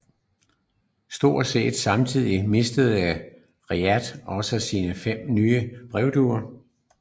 Stort set samtidigt mistede Reshat også sine fem nye brevduer